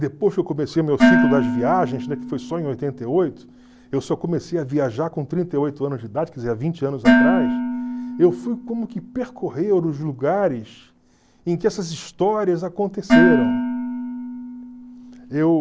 depois que eu comecei o meu ciclo das viagens, né, que foi só em oitenta e oito, eu só comecei a viajar com trinta e oito anos de idade, quer dizer, há vinte anos atrás, eu fui como que percorrer os lugares em que essas histórias aconteceram.